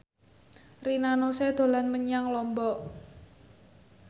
Rina Nose dolan menyang Lombok